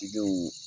Tigiw